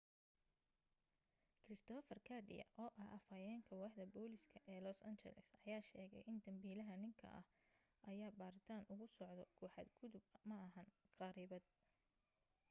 christopher garcia oo ah afayeenka waaxda booliska ee los angeles ayaa sheegay in dambiilaha ninka ah ayaa baaritaan ugu socoto ku xad gudub ma ahan kharibaad